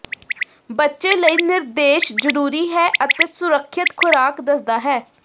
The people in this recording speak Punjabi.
ਬੱਚੇ ਲਈ ਨਿਰਦੇਸ਼ ਜ਼ਰੂਰੀ ਹੈ ਅਤੇ ਸੁਰੱਖਿਅਤ ਖੁਰਾਕ ਦੱਸਦਾ ਹੈ